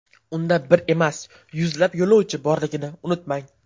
Unda bir emas, yuzlab yo‘lovchi borligini unutmang.